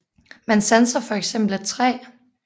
Man sanser for eksempel et træ